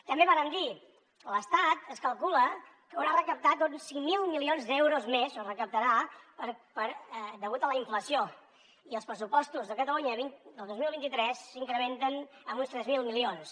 també vàrem dir l’estat es calcula que haurà recaptat uns cinc mil milions d’euros més o recaptarà degut a la inflació i els pressupostos de catalunya del dos mil vint tres s’incrementen en uns tres mil milions